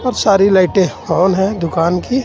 और सारी लाइटें ओन है दुकान की.